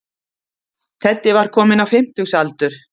Teddi var kominn á fimmtugsaldur.